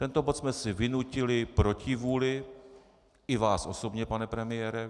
Tento bod jsme si vynutili proti vůli i vás osobně, pane premiére.